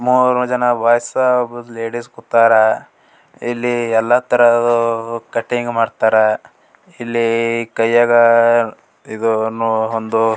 ಮೂರ್ ಜನ ಬಾಯ್ಸ್ ಒಬ್ರು ಲೇಡೀಸ್ ಕುತರ್ ಇಲ್ಲಿ ಎಲ್ಲಾ ತರಹವು ಕಟಿಂಗ್ ಮಾಡತ್ತರ್ ಇಲ್ಲಿ ಕೈಯಗ್ ಇದು ಅನ್ನು ಒಂದು --